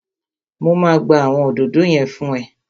Mo máa gbá àwọn òdòdó yẹn fún ẹ